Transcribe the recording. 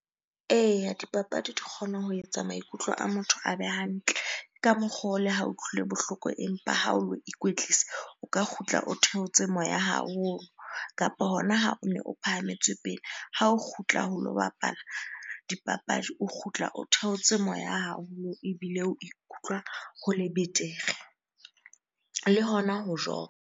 Eya, dipapadi di kgona ho etsa maikutlo a motho a be hantle. Ke ka mokgwa oo le ha o utlwile bohloko empa ha o lo ikwetlisa, o ka kgutla o theotse moya haholo. Kapa hona ha one o phahametswe pele, ha o kgutla ho lo bapala dipapadi, o kgutla o theotse moya haholo ebile o ikutlwa ho le betere. Le hona ho .